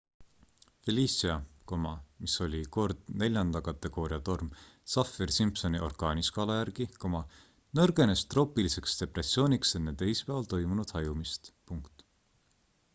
felicia mis oli kord 4 kategooria torm saffir-simpsoni orkaaniskaala järgi nõrgenes troopiliseks depressiooniks enne teisipäeval toimunud hajumist